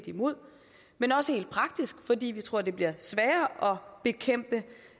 imod men også helt praktisk fordi vi tror det bliver sværere at bekæmpe